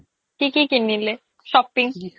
কি কি কিনিলে shopping